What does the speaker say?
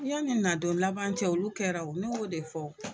Yanni nadon laban cɛ olu kɛra o ne y'o de fɔ,